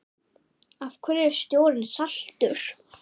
Af hverju er sjórinn saltur?